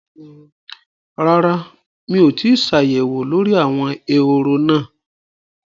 Rárá mi ò tíì ṣàyẹ̀wò lórí àwọn ehoro náà